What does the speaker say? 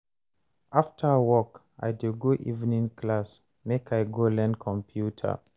After work, I dey go evening class make I go learn computer.